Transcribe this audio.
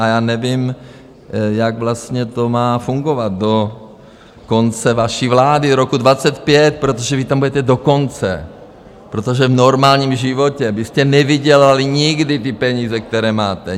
A já nevím, jak vlastně to má fungovat do konce vaší vlády roku 2025, protože vy tam budete do konce, protože v normálním životě byste nevydělali nikdy ty peníze, které máte.